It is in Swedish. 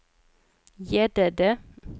Gäddede